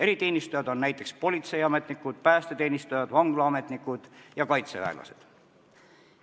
Eriteenistujad on näiteks politseiametnikud, päästeteenistujad, vanglaametnikud ja kaitseväelased.